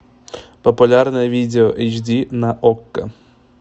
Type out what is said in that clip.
популярное видео эйч ди на окко